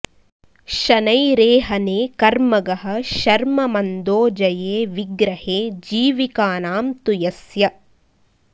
शनैरेहने कर्मगः शर्म मंदो जये विग्रहे जीविकानां तु यस्य